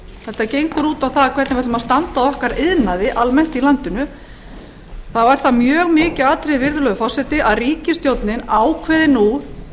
þetta gengur út á það hvernig við ætlum að standa að okkar iðnaði almennt í landinu þá er það mjög mikið atriði virðulegur forseti að ríkisstjórnin ákveði nú